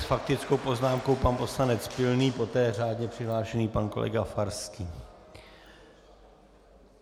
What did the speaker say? S faktickou poznámkou pan poslanec Pilný, poté řádně přihlášený pan kolega Farský.